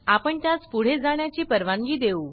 आप्ण त्यास पुढे जाण्याची परवानगी देऊ